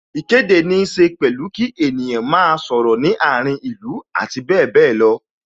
Ìkéde ní ṣe pẹ̀lú kí ènìyàn máa sọ̀rọ̀ ní àárín ìlú abbl.